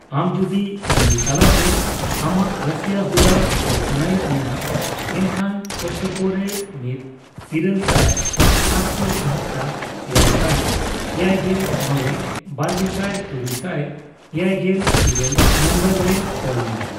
ᱟᱢ ᱡᱩᱫᱤ ᱢᱮᱹᱞ ᱛᱟᱞᱟᱛᱮ ᱟᱢᱟᱜ ᱨᱟᱹᱥᱤᱭᱟᱹ ᱦᱩᱫᱟᱹ ᱠᱳᱞ ᱥᱟᱱᱟᱭᱮᱫ ᱢᱮᱭᱟ, ᱮᱱᱠᱷᱟᱱ ᱠᱚᱥᱴᱠᱳᱼᱨᱮ ᱢᱤᱛ ᱼᱤᱨᱟᱹᱞ ᱥᱟᱭ ᱼ᱗᱗᱔ᱮᱭᱟᱭ ᱥᱟᱭ ᱮᱭᱟᱭᱜᱮᱞ ᱢᱚᱲᱮ ᱼᱵᱟᱨᱜᱮᱥᱟᱭ ᱛᱩᱨᱩᱭᱥᱟᱭ ᱮᱭᱟᱭᱜᱮᱞ ᱤᱨᱟᱹᱞ ᱱᱚᱢᱵᱚᱨ ᱨᱮ ᱠᱚᱞ ᱢᱮ ᱾